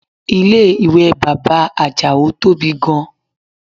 Ilé ìwẹ̀ bàbá Àjàó tóbi gan